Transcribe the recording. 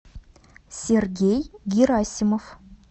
сергей герасимов